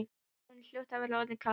Honum hljóti að vera orðið kalt.